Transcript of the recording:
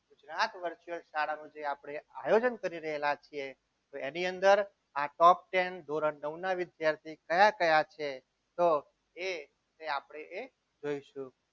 Gujarat virtual શાળાનું જે આપણે આયોજન કરી રહેલા છે તો એની અંદર આ top ten ધોરણ નવ ના વિદ્યાર્થીઓ કયા કયા છે તો એ આપણે એ જોઈશું.